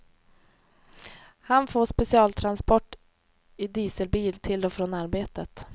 Han får specialtransport i dieselbil till och från arbetet.